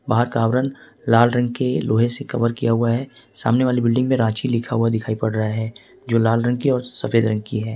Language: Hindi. पार्क का आवरण लाल रंग के लोहे से कवर किया हुआ है सामने वाली बिल्डिंग में रांची लिखा हुआ दिखाई पड़ रहा है जो लाल रंग की और सफेद रंग की है।